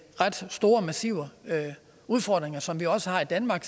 ret store og massive udfordringer som vi også har i danmark